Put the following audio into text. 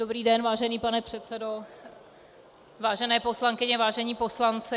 Dobrý den, vážený pane předsedo, vážené poslankyně, vážení poslanci.